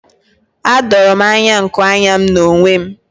Adoro m anya nku anya n'onwe m.